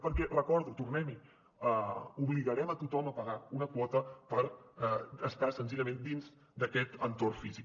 perquè ho recordo tornem hi obligarem a tothom a pagar una quota per estar senzillament dins d’aquest entorn físic